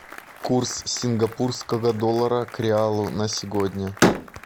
курс сингапурского доллара к реалу на сегодня